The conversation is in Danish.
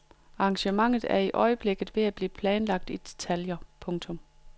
Arrangementet er i øjeblikket ved at blive planlagt i detaljer. punktum